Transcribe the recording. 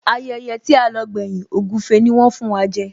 Ayẹyẹ tí a lọ gbẹ́yìn, ògúfe ni wón fún wa jẹ